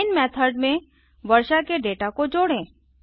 main method में वर्षा के डेटा को जोड़ें